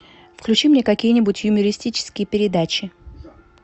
включи мне какие нибудь юмористические передачи